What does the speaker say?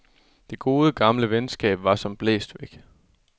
Det gode, gamle venskab var som blæst væk.